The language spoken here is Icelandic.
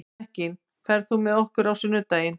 Mekkin, ferð þú með okkur á sunnudaginn?